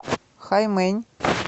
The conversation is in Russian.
хаймэнь